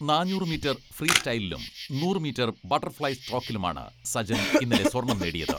നാന്നൂറ് മീറ്റർ ഫ്രീസ്റ്റൈലിലും നൂറ് മീറ്റർ ബട്ടർഫ്ലൈ സ്ട്രോക്കിലുമാണ് സജൻ ഇന്നലെ സ്വർണ്ണം നേടിയത്.